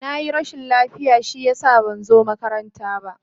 Na yi rashin lafiya shi ya sa ban zo makaranta ba.